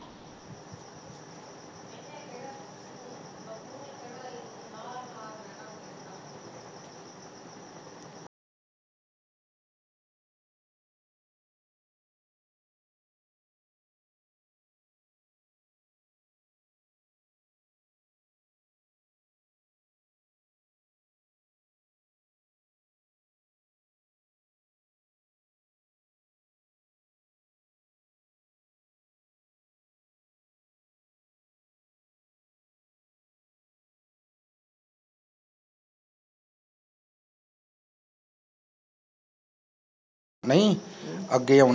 ਹਮ